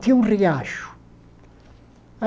Tinha um riacho.